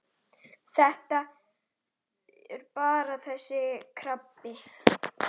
Þetta er bara þessi krabbi.